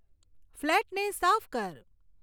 ફ્લેટને સાફ કર